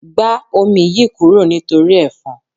Gba omi yìí kúrò nítorí efon.